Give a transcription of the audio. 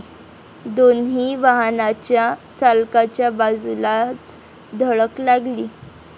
दोन्ही वाहनाच्या चालकाच्या बाजूलाच धडक लागली.